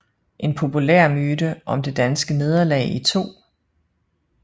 En populær myte om det danske nederlag i 2